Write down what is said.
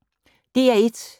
DR1